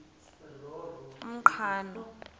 umqhano